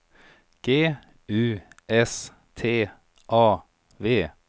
G U S T A V